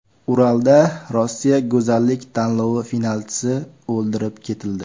Uralda Rossiya go‘zallik tanlovi finalchisi o‘ldirib ketildi.